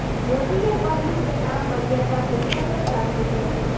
મોદીએ કહ્યું કે આ મર્યાદા પુરુષોત્તમ રામની ધરતી છે